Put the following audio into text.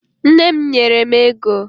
Nne m nyere m ego